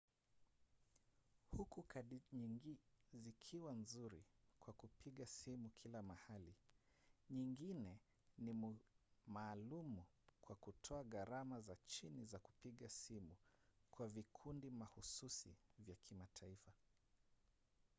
huku kadi nyingi zikiwa nzuri kwa kupiga simu kila mahali nyingine ni maalumu kwa kutoa gharama za chini za kupiga simu kwa vikundi mahususi vya mataifa